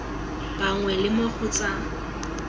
bangwe le mo go tsa